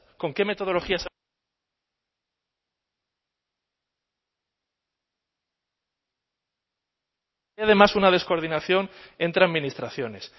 con qué metodologías además una descoordinación entre